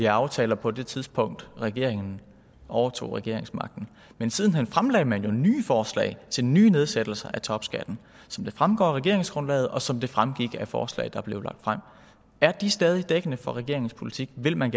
af aftaler på det tidspunkt regeringen overtog regeringsmagten men siden hen fremlagde man jo nye forslag til nye nedsættelser af topskatten som det fremgår af regeringsgrundlaget og som det fremgik af forslaget der blev lagt frem er de stadig dækkende for regeringens politik vil man